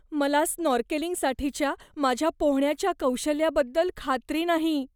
मला स्नॉर्केलिंगसाठीच्या माझ्या पोहण्याच्या कौशल्याबद्दल खात्री नाही.